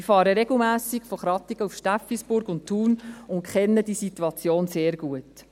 Ich fahre regelmässig von Krattigen nach Steffisburg und Thun und kenne die Situation sehr gut.